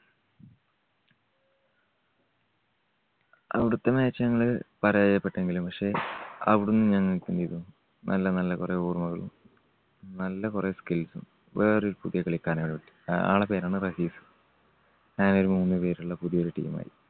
അവിടത്തെ match ഞങ്ങള് പരാജയപ്പെട്ടെങ്കിലും പക്ഷേ അവിടുന്ന് ഞങ്ങൾക്ക് എന്ത് ചെയ്തു? നല്ല നല്ല കുറെ ഓർമ്മകള് നല്ല കുറെ skills ഉം വേറെയൊരു പുതിയ കളിക്കാരനെ ഞങ്ങൾ, ആ~ആൾടെ പേരാണ് റഹീസ്. ഞങ്ങൾ മൂന്ന് പേരുള്ള പുതിയ ഒരു team ആയി.